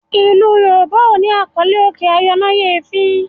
ilú yorùbá o ní àkọlé òkè ayọnáyèéfín.